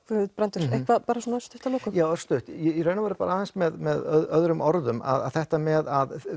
Guðbrandur eitthvað örstutt að lokum já örstutt í raun bara aðeins með öðrum orðum þetta með